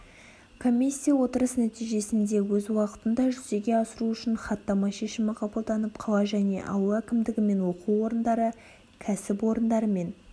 комиссия отырыс нәтижесінде өз уақытында жүзеге асыру үшін хаттама шешімі қабылданып қала және ауыл әкімдігі мен оқу орындары кәсіп орындары мен